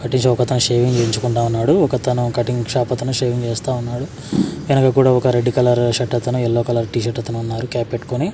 cutting shop అతను shaving చెపించుకుంటా ఉన్నాడు ఒక అతను కటింగ్ షాప్ అతను షేవింగ్ చేస్తా ఉన్నాడు వెనక కుడా ఒక రెడ్ కలర్ షర్ట్ అతను ఎల్లో కలర్ టీ షర్ట్ అతను ఉన్నారు క్యాప్ పెట్టుకోని --